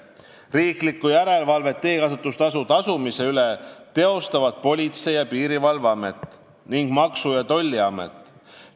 Riiklikku järelevalvet teekasutustasu tasumise üle teostavad Politsei- ja Piirivalveamet ning Maksu- ja Tolliamet.